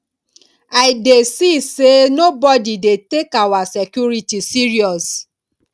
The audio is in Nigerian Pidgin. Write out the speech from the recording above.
i dey see say nobody dey take our security serious